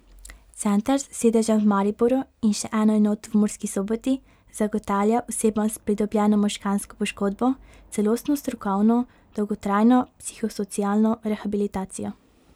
Center s sedežem v Mariboru in še eno enoto v Murski Soboti zagotavlja osebam s pridobljeno možgansko poškodbo celostno strokovno dolgotrajno psihosocialno rehabilitacijo.